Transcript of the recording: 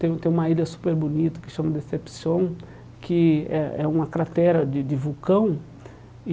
Tem tem uma ilha super bonita que chama Deception, que é é uma cratera de de vulcão e.